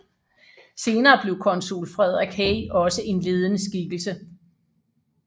Senere blev konsul Frederik Hey også en ledende skikkelse